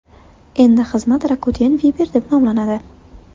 Endi xizmat Rakuten Viber deb nomlanadi.